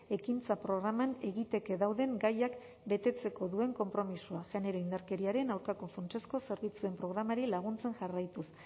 ekintza programan egiteke dauden gaiak betetzeko duen konpromisoa genero indarkeriaren aurkako funtsezko zerbitzuen programari laguntzen jarraituz